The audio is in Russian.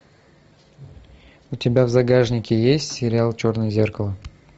у тебя в загашнике есть сериал черное зеркало